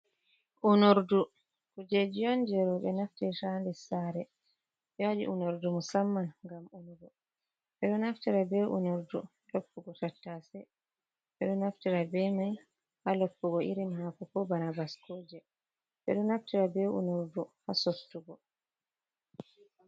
Unordun kujeji on jei roɓe naftirta ha nder sare ɓe waɗi Unordu musamman ngam ɓe naftira ha loppugo tattase, beɗo naftira be mai ha loppugo irin hako, ko banabasko je, ɓeɗo naftira bei Unordu ha sottugo.